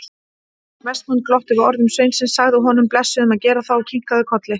Vestmann glotti við orðum sveinsins, sagði honum blessuðum að gera það og kinkaði kolli.